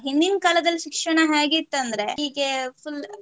ಹಿಂದಿನ್ ಕಾಲದಲ್ಲಿ ಶಿಕ್ಷಣ ಹೇಗೆ ಇತ್ತಂದ್ರೆ ಹೀಗೆ full